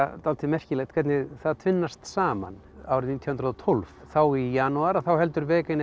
dálítið merkilegt hvernig það tvinnast saman árið nítján hundruð og tólf þá í janúar heldur